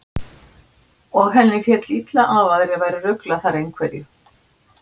Og henni féll illa að aðrir væru að rugla þar einhverju.